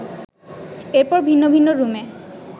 এরপর ভিন্ন ভিন্ন রুমে